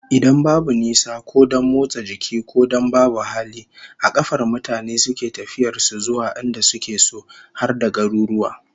Idan babu nisa, ko don motsa jiki, ko don babu hali, a kafar mutane suke tafiyar su zuwa inda suke so, har da garuruwa